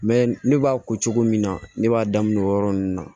ne b'a ko cogo min na ne b'a daminɛ o yɔrɔ nunnu na